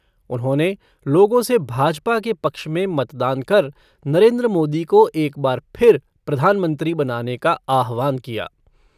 उन्होंने लोगों से भाजपा के पक्ष में मतदान कर नरेन्द्र मोदी को एक बार फिर प्रधानमंत्री बनाने का आह्वान किया।